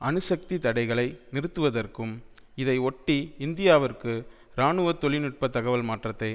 அணுசக்தி தடைகளை நிறுத்துவதற்கும் இதை ஒட்டி இந்தியாவிற்கு இராணுவ தொழில் நுட்ப தகவல் மாற்றத்தை